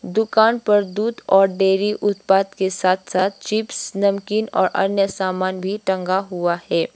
दुकान पर दूध और डेयरी उत्पाद के साथ साथ चिप्स नमकीन और अन्य सामान भी टंगा हुआ है।